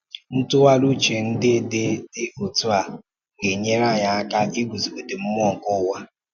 Ntụgharị uche ndị dị dị otú a ga-enyere anyị aka iguzogide mmụọ nke ụwa.